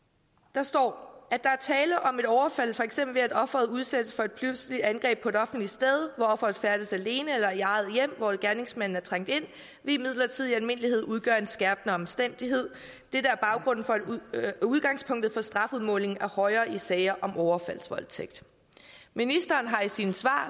der står at der er tale om et overfald for eksempel ved at offeret udsættes for et pludseligt angreb på et offentligt sted hvor offeret færdes alene eller i eget hjem hvor gerningsmanden er trængt ind vil imidlertidig i almindelighed udgøre en skærpende omstændighed dette er udgangspunktet for at strafudmåling er højere i sager om overfaldsvoldtægt ministeren har i sine svar